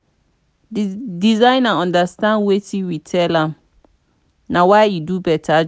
the designer understand wetin we tell am na why he do beta job